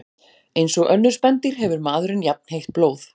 Eins og önnur spendýr hefur maðurinn jafnheitt blóð.